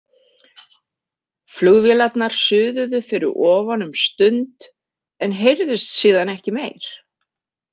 Flugvélarnar suðuðu fyrir ofan um stund en heyrðust síðan ekki meir.